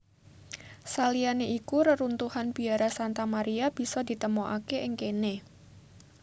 Saliyané iku reruntuhan biara Santa Maria bisa ditemokaké ing kéné